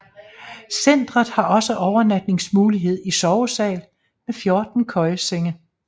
Centret har også overnatningsmulighed i sovesal med 14 køjesenge